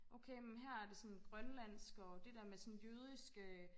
okay men her er det sådan grønlandsk og det der med sådan jødisk øh